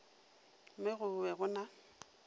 mo go be go na